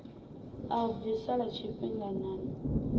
a u bvisa lwa tshifhinganyana